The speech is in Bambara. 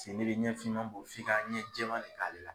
Sen ŋelen ɲɛ fiman bo f'i ka ɲɛ jɛman de k'ale la